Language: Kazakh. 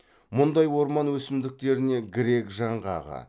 мұндай орман өсімдіктеріне грек жаңғағы